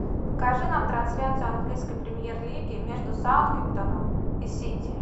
покажи нам трансляцию английской премьер лиги между саутгемптоном и сити